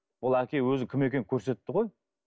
ол әке өзінің кім екенін көрсетті ғой